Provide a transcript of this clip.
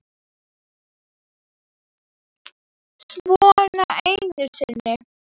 Svona einu sinni.